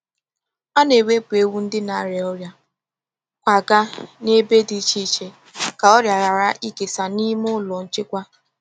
A na-ewepụ ewu ndị n'arịa ọrịa kwagaa na ebe dị iche iche ka ọrịa ghara ịkesa n’ime ụlọ nchekwa.